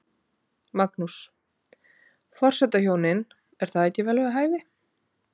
Magnús: Forsetahjónin, er það ekki vel við hæfi?